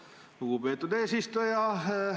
Aitäh, lugupeetud eesistuja!